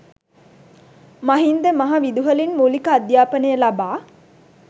මහින්ද මහ විදුහලින් මුලික අධ්‍යාපනය ලබා